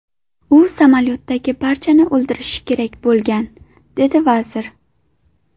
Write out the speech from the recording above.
U samolyotdagi barchani o‘ldirishi kerak bo‘lgan”, dedi vazir.